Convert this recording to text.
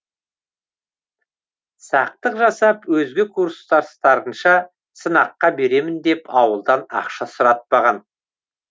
сақтық жасап өзге курстастарынша сынаққа беремін деп ауылдан ақша сұратпаған